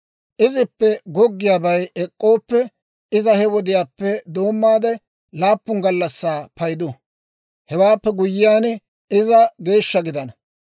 « ‹Izippe goggiyaabay ek'k'ooppe, iza he wodiyaappe doommaade laappun gallassaa paydu; Hewaappe guyyiyaan, iza geeshsha gidana.